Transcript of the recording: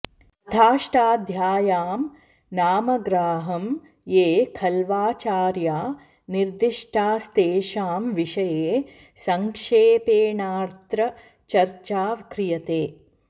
अथाष्टाध्याय्यां नामग्राहं ये ख़ल्वाचार्या निर्दिष्टास्तेषां विषये सङ्क्षेपेणाऽत्र चर्चा क्रियते